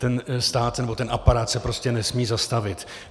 Ten stát nebo ten aparát se prostě nesmí zastavit.